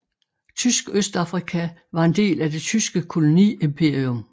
Tysk Østafrika var en del af Det tyske koloniimperium